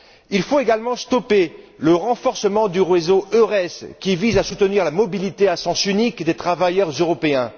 Il faut également interrompre le renforcement du réseau Eures, qui vise à soutenir la mobilité à sens unique des travailleurs européens.